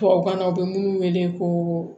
Tubabukan na u bɛ minnu wele ko